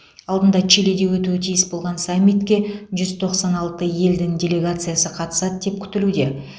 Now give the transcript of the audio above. алдында чилиде өтуі тиіс болған саммитке жүз тоқсан алты елдің делегациясы қатысады деп күтілуде